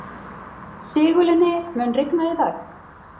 Sigurlinni, mun rigna í dag?